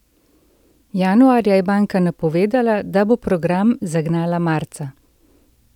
Januarja je banka napovedala, da bo program zagnala marca.